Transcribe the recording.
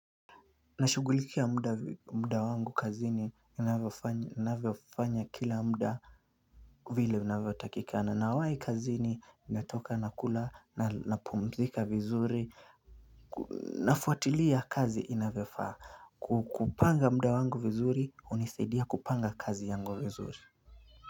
Nashugulikia muda wangu kazini inavyofanya kila muda vile inavyotakikana nawai kazini natoka nakula na napumzika vizuri nafuatilia kazi inavyofaa kupanga muda wangu vizuri hunisidia kupanga kazi yangu vizuri.